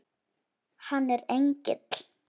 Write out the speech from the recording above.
Hann er engill.